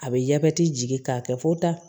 A bɛ jabɛti jigin k'a kɛ fo ta